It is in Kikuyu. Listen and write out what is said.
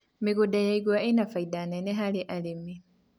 mĩgũnda ya igwa ina baida nene harĩ arĩmi